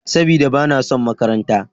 Sabida, ba na son makaranta.